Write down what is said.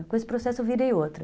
Com esse processo eu virei outra.